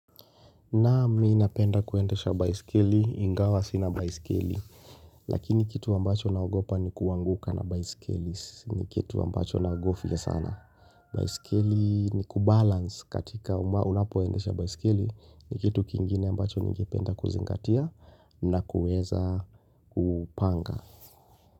Naam mimi napenda kuendesha baiskeli ingawa sina baiskeli Lakini kitu ambacho naogopa ni kuanguka na baiskeli ni kitu ambacho naogofya sana baiskeli ni kubalance katika unapoendesha baiskeli ni kitu kingine ambacho ningependa kuzingatia na kuweza kupanga.